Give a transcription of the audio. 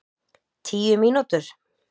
Tíu mínútur?